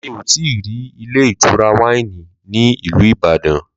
Mí ò tíì rí ilé ìtura wáìnì ní ìlú Ìbàdàn